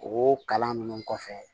O kalan nunnu kɔfɛ